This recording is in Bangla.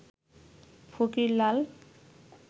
ফকির লাল